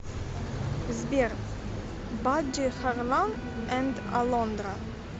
сбер бадди харлан энд алондра